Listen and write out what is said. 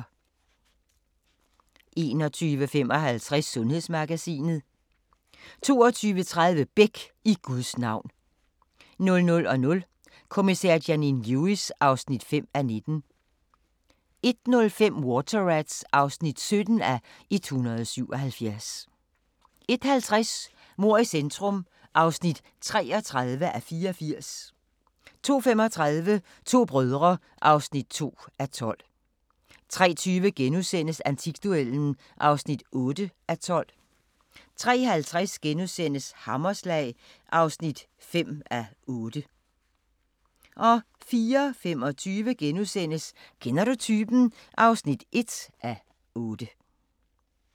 21:55: Sundhedsmagasinet 22:30: Beck: I Guds navn 00:00: Kommissær Janine Lewis (5:19) 01:05: Water Rats (17:177) 01:50: Mord i centrum (33:84) 02:35: To brødre (2:12) 03:20: Antikduellen (8:12)* 03:50: Hammerslag (5:8)* 04:25: Kender du typen? (1:8)*